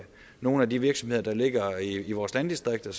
nogle af de virksomheder der ligger i vores landdistrikter